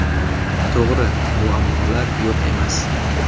To‘g‘ri, muammolar yo‘q emas.